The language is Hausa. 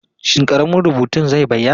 Shin ƙaramin rubutun zai bayyana?